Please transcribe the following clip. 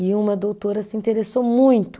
E uma doutora se interessou muito.